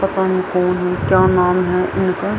पता ना कौन है क्या नाम है।